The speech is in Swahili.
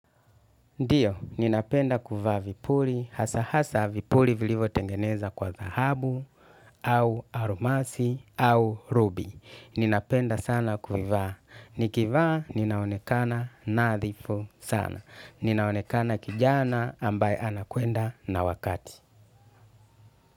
Ndio, ninapenda kuvaa vipuli, hasa hasa vipuli vilivo tengeneza kwa dhahabu, au almasi, au rubi. Ninapenda sana kufivaa. Nikivaa, ninaonekana nadhifu sana. Ninaonekana kijana ambaye anakwenda na wakati.